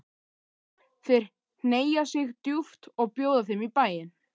Þeir hneigja sig djúpt og bjóða þeim í bæinn.